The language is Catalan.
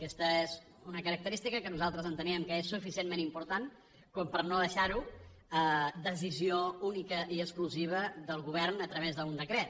aquesta és una característica que nosaltres enteníem que és suficientment important com per no deixar ho a decisió únicament i exclusivament del govern a través d’un decret